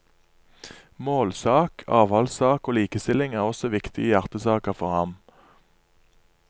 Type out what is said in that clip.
Målsak, avholdssak og likestilling er også viktige hjertesaker for ham.